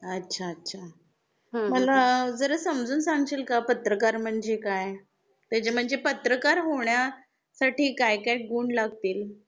अच्छा अच्छा! मला जरा समजून सांगशील का पत्रकार म्हणजे काय? ते जे म्हणजे पत्रकार होण्यासाठी काय काय गुण लागतील?